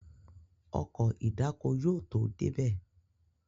Ọkọ̀ ìdáko yóò tó débí